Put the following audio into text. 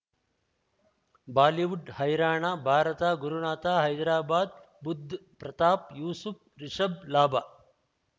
Bollywood ಹೈರಾಣ ಭಾರತ ಗುರುನಾಥ ಹೈದರಾಬಾದ್ ಬುಧ್ ಪ್ರತಾಪ್ ಯೂಸುಫ್ ರಿಷಬ್ ಲಾಭ